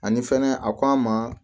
Ani fɛnɛ a k'an ma